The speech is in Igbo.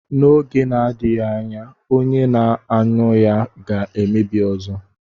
N'oge na-adịghị anya, onye na-aṅụ ya ga-emebi ọzọ.